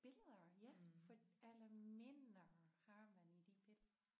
Billeder ja for alle minder har man i de billeder